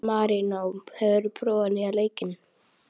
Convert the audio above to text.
Marínó, hefur þú prófað nýja leikinn?